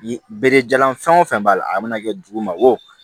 Bere jalan fɛn o fɛn b'a la a mana kɛ dugu ma wo